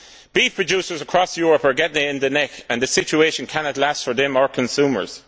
Beef producers across Europe are getting it in the neck, and the situation cannot last for them or consumers.